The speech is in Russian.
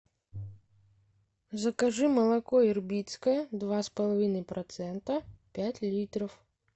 закажи молоко ирбитское два с половиной процента пять литров